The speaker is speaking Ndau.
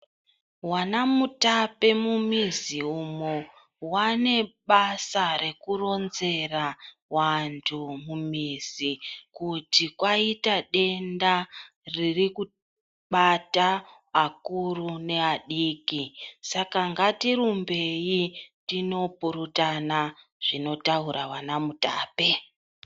Vana mutape mumizi umo vanebasa rekuronzera vantu mumizi kuti kwaita denda ririkubata akuru neadiki. Saka ngatirimbeyi tinopurutana zvinotaura vana mutape.